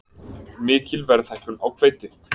Mikil verðhækkun á hveiti